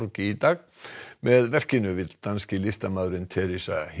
í dag með verkinu vill danski listamaðurinn Theresa